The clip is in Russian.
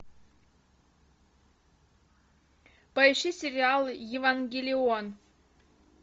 поищи сериал евангелион